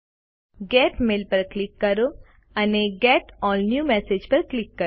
gate mail પર click કરો અને ગેટ અલ્લ ન્યૂ મેસેજીસ પર ક્લિક કરો